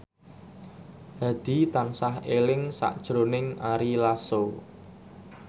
Hadi tansah eling sakjroning Ari Lasso